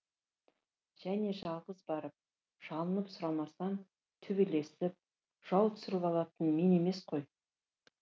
және жалғыз барып жалынып сұрамасам төбелесіп жау түсіріп алатын мен емес қой